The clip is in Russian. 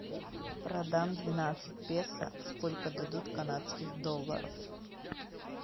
продам двенадцать песо сколько дадут канадских долларов